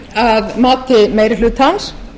að mati meiri hlutans